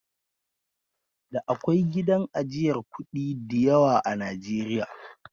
Da akwai gidan ajiyar kuɗi diyawa a Najeriya.